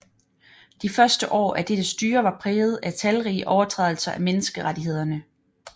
De første år af dette styre var præget af talrige overtrædelser af menneskerettighederne